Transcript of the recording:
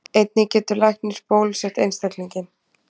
Einnig getur læknir bólusett einstaklinginn.